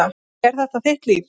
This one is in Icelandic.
En þetta er þitt líf.